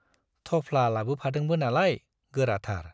थफ्ला लाबोफादोंबो नालाय, गोराथार।